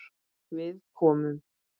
Við komum.